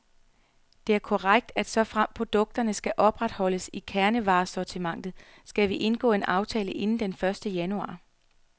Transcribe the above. Det er korrekt, at såfremt produkterne skal opretholdes i kernevaresortimentet, skal vi indgå en aftale inden den første januar.